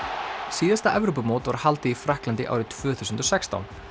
síðasta Evrópumót var haldið í Frakklandi árið tvö þúsund og sextán